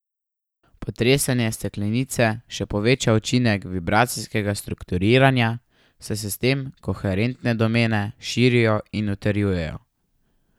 Potresanje steklenice še poveča učinek vibracijskega strukturiranja, saj se s tem koherentne domene širijo in utrjujejo.